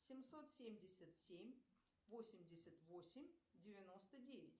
семьсот семьдесят семь восемьдесят восемь девяносто девять